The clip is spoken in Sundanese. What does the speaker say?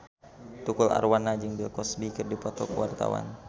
Tukul Arwana jeung Bill Cosby keur dipoto ku wartawan